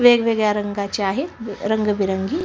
वेगवेगळ्या रंगाच्या आहे रंगबेरंगी--